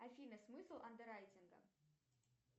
афина смысл андеррайтинга